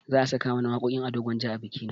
Za a saka mana waƙoƙin ado gwanja a bikina